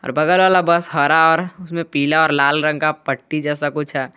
बगल वाला बस हरा और उसमें पीला और लाल रंग का पट्टी जैसा कुछ है।